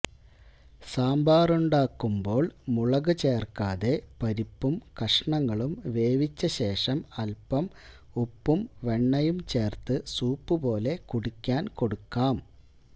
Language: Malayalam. സാമ്പാറുണ്ടാക്കുമ്പോള് മുളകു ചേര്ക്കാതെ പരിപ്പും കഷണങ്ങളും വേവിച്ചശേഷം അല്പം ഉപ്പും വെണ്ണയും ചേര്ത്ത് സൂപ്പുപോലെ കുടിക്കാന് കൊടുക്കാം